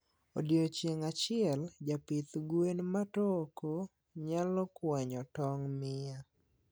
odiocieng achiel japidh gwen matoko nylo kwany tong mia